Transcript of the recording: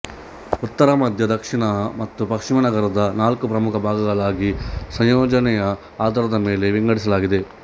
ಉತ್ತರ ಮಧ್ಯ ದಕ್ಷಿಣ ಮತ್ತು ಪಶ್ಚಿಮ ನಗರದ ನಾಲ್ಕು ಪ್ರಮುಖ ಭಾಗಗಳಾಗಿ ಸಂಯೋಜನೆಯ ಆಧಾರದ ಮೇಲೆ ವಿಂಗಡಿಸಲಾಗಿದೆ